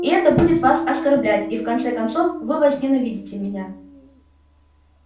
и это будет вас оскорблять и в конце концов вы возненавидите меня